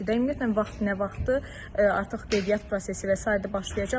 Ümumiyyətlə vaxt nə vaxtdır, artıq qeydiyyat prosesi və sairə başlayacaq?